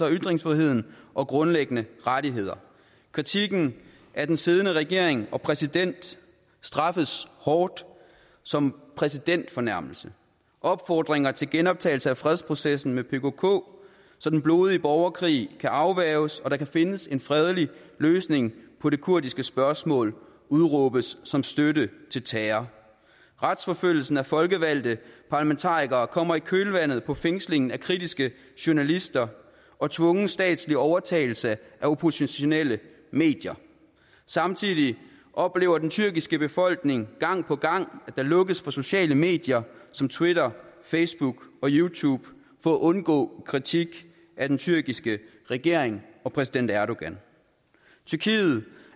af ytringsfriheden og grundlæggende rettigheder kritikken af den siddende regering og præsident straffes hårdt som præsidentfornærmelse opfordringer til genoptagelse af fredsprocessen med pkk så den blodige borgerkrig kan afværges og der kan findes en fredelig løsning på det kurdiske spørgsmål udråbes som støtte til terror retsforfølgelsen af folkevalgte parlamentarikere kommer i kølvandet på fængslingen af kritiske journalister og tvungen statslig overtagelse af oppositionelle medier samtidig oplever den tyrkiske befolkning gang på gang at der lukkes for sociale medier som twitter facebook og youtube for at undgå kritik af den tyrkiske regering og præsident erdogan tyrkiet